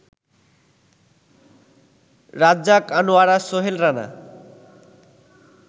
Razzak, Anowara, Sohel Rana